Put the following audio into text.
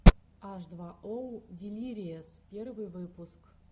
аш два оу дилириэс первый выпуск